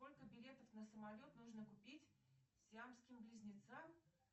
сколько билетов на самолет нужно купить сиамским близнецам